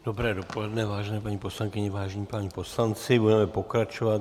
Dobré dopoledne, vážené paní poslankyně, vážení páni poslanci, budeme pokračovat.